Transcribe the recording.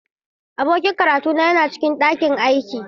Abokin karatuna yana cikin ɗakin aiki.